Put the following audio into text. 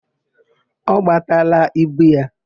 Ọ gbataala ibu ya?